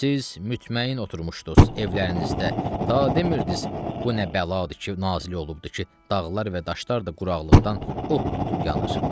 Siz mütməyin oturmuşdunuz evlərinizdə, ta demirdiz: bu nə bəladır ki, nazil olubdur ki, dağlar və daşlar da quraqlıqdan od tutub yanır.